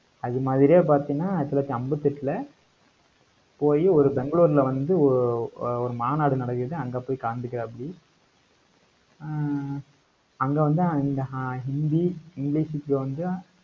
அது மாதிரியே பாத்தீங்கன்னா, ஆயிரத்தி தொள்ளாயிரத்தி அம்பத்தி எட்டுல போயி, ஒரு பெங்களூர்ல வந்து ஒ~ ஒரு மாநாடு நடக்குது அங்க போய் கலந்துக்குறாப்படி ஆஹ் அங்க வந்து, அந்த ஆஹ் இந்தி, இங்கிலிஷுக்கு வந்து,